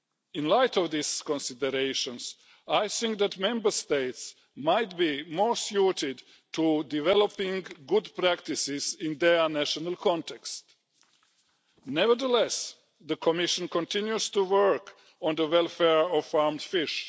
In light of these considerations, I think that Member States might be more suited to developing good practices in their national context. Nevertheless, the Commission continues to work on the welfare of farmed fish.